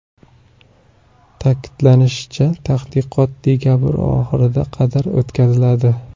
Ta’kidlanishicha, tadqiqot dekabr oxiriga qadar o‘tkaziladi.